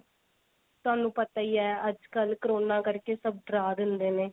ਤੁਹਾਨੁੰ ਪਤਾ ਈ ਏ ਅੱਜਕੱਲ corona ਕਰਕੇ ਸਭ ਡਰਾ ਦਿੰਦੇ ਨੇ